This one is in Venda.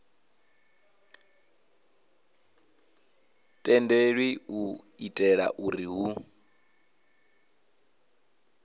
tendelwi u itela uri hu